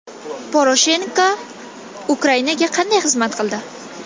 Poroshenko Ukrainaga qanday xizmat qildi?